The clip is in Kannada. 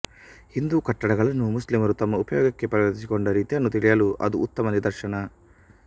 ಹಿಂದೂ ಕಟ್ಟಡಗಳನ್ನು ಮುಸ್ಲಿಮರು ತಮ್ಮ ಉಪಯೋಗಕ್ಕೆ ಪರಿವರ್ತಿಸಿಕೊಂಡ ರೀತಿಯನ್ನು ತಿಳಿಯಲು ಅದು ಉತ್ತಮ ನಿದರ್ಶನ